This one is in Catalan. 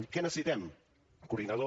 què necessitem coordinador